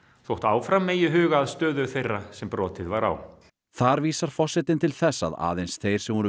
þótt áfram megi huga að stöðu þeirra sem brotið var á þar vísar forsetinn til þess að aðeins þeir sem voru